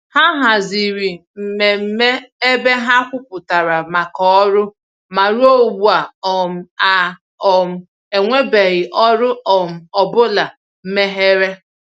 Ha haziri mmemme ebe ha kwupụtara màkà ọrụ, ma ruo ugbu um a, um enwebeghị ọrụ um ọ bụla meghere.